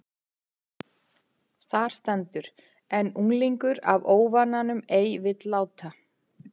Þar stendur: En unglingur af óvananum ei vill láta